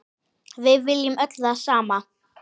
Við viljum öll það sama.